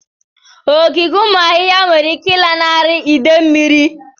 Ogige ụmụ ahụhụ nwere ike ịlanarị idè mmiri.